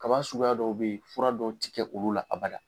Kaba suguya dɔw be yen, fura dɔw ti kɛ olu la aba la.